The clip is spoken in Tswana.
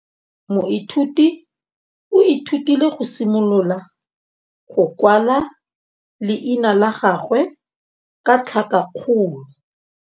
Moithuti o ithutile go simolola go kwala leina la gagwe ka tlhakakgolo.